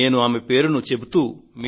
నేను ఆమె పేరును చెబుతూ